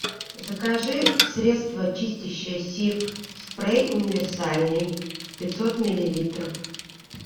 закажи средство чистящее сиф спрей универсальный пятьсот миллилитров